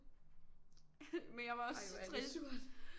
Men jeg var også så trist